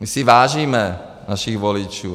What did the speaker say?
My si vážíme našich voličů.